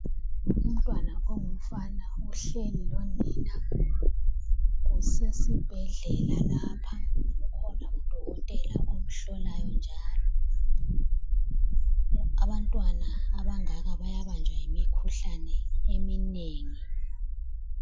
Umntwana ongumfana ohleli lonina kusesibhedlela lapha, kukhona udokotela omhlolayo njalo. Abantwana abangaka bayabanjwa imikhuhlane eminengi kakhulu.